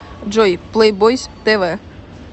джой плэйбойз тэ вэ